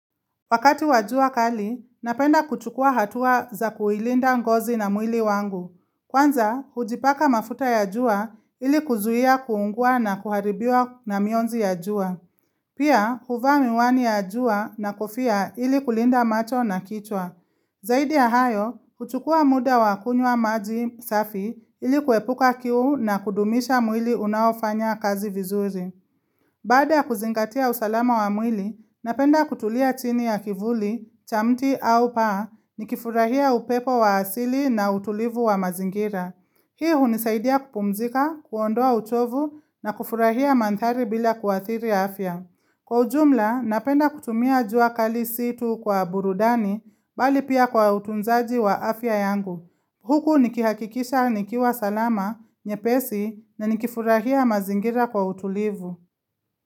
Wakati wa jua kali, napenda kuchukua hatua za kuilinda ngozi na mwili wangu. Kwanza, hujipaka mafuta ya jua ili kuzuia kuungua na kuharibiwa na mionzi ya jua. Pia, huvaa miwani ya jua na kofia ili kulinda macho na kichwa. Zaidi ya hayo, huchukua muda wakunywa maji safi ili kuepuka kiu na kudumisha mwili unaofanya kazi vizuri. Baada ya kuzingatia usalama wa mwili, napenda kutulia chini ya kivuli, cha mti au paa, nikifurahia upepo wa asili na utulivu wa mazingira. Hii hunisaidia kupumzika, kuondoa uchovu na kufurahia mandhari bila kuathiri afya. Kwa ujumla, napenda kutumia jua kali si tu kwa burudani, bali pia kwa utunzaji wa afya yangu. Huku nikihakikisha nikiwa salama, nyepesi na nikifurahia mazingira kwa utulivu.